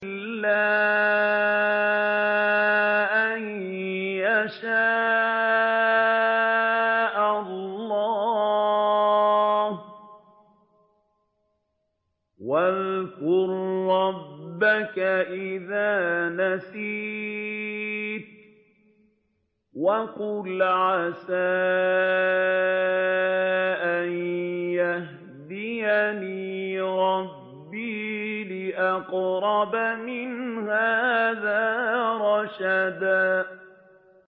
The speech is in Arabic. إِلَّا أَن يَشَاءَ اللَّهُ ۚ وَاذْكُر رَّبَّكَ إِذَا نَسِيتَ وَقُلْ عَسَىٰ أَن يَهْدِيَنِ رَبِّي لِأَقْرَبَ مِنْ هَٰذَا رَشَدًا